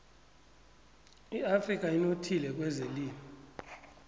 iafrika inothile kwezelimo